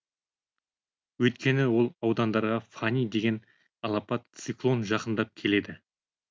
өйткені ол аудандарға фани деген алапат циклон жақындап келеді